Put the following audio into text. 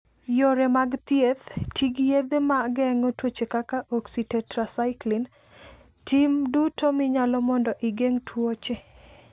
Yore mag thieth: Ti gi yedhe ma geng'o tuoche kaka oxytetracycline. Tim duto minyalo mondo igeng' tuoche.